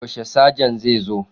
Yaushe Sajan zai zo?